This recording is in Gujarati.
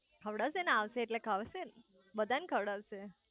ખવડાવ સે ને આવશે એટલે ખવડાવ સે ને બધાય ને ખવડાવ સે